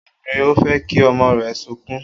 Obìnrin ò fẹ́ kí ọmọ rẹ̀ sunkún